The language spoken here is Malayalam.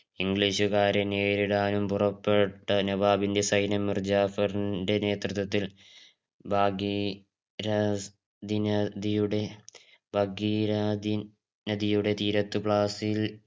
ഇംഗ്ലീഷുകാരെ നേരിടാനും പുറപ്പെട്ട നവാബിന്റെ സൈന്യം മിർജഫരിന്റെ നേതൃത്വത്തിൽ ഭാഗി രാ നദിയുടെ ഭാഗിരാതി നദിയുടെ തീരത്ത്